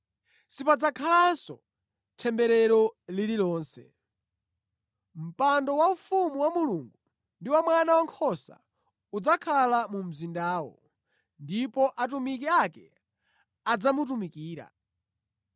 Sipadzakhalanso temberero lililonse. Mpando waufumu wa Mulungu ndi wa Mwana Wankhosa udzakhala mu mzindawo, ndipo atumiki ake adzamutumikira.